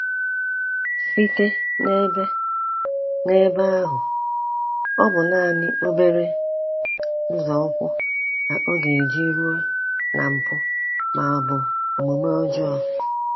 Site n’ebe n’ebe ahụ, ọ bụ naanị obere nzọụkwụ ka ọ ga eji ruo na mpụ ma ọ bụ omume ọjọọ.